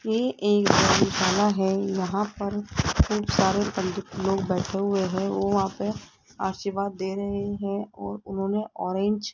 ये एक धर्मशाला है यहां पर खुप सारे पंडित लोग बैठे हुए हैं वो वहां पे आशीर्वाद दे रहे हैं और उन्होंने ऑरेंज --